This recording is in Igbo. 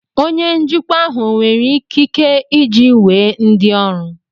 Onye njikwa ahụ ọ nwere ikike iji wee ndị ọrụ